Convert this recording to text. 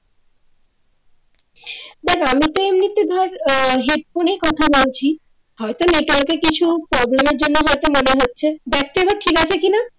দেখ আমি তো এমনিতে ধর আহ হেডফোনে কথা বলছি হয়তো নেটওয়ার্কে কিছু problem জন্য হয়তো মনে হচ্ছে দেখতো এবার ঠিক আছে কিনা?